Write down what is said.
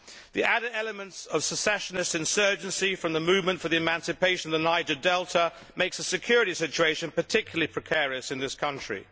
The added element of a secessionist insurgency from the Movement for the Emancipation of the Niger Delta makes the security situation particularly precarious in this country.